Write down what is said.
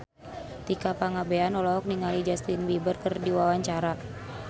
Tika Pangabean olohok ningali Justin Beiber keur diwawancara